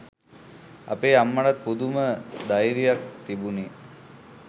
අපේ අම්මටත් පුදුම ධෛර්යත් තිබුණේ